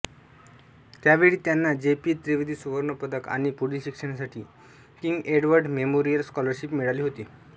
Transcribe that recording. त्यावेळी त्यांना J P Trivedi सुवर्णपदक आणि पुढील शिक्षणासाठी किंग एडवर्ड मेमोरियल स्कॉलरशिप मिळाली होती